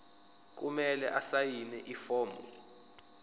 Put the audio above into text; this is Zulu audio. kumele asayine ifomu